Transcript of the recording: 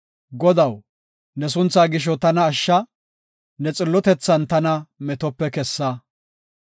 Godaw, ne sunthaa gisho tana ashsha; ne xillotethan tana metope kessa.